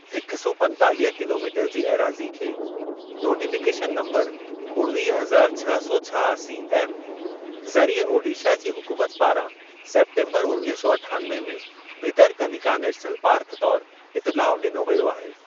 हिक सौ पंतालिह किलोमीटर जी एराज़ी खे नोटीफ़िकेशन नम्बरु उणवीह हज़ार छह सौ छहासी एफ ज़रिए ओडीशा जी हुकूमत पारां सेप्टेम्बरु उणवीह सौ अठानवे में भितरकनिका नेशनल पार्क तौर इतिलाउ ॾिनो व्यो आहे।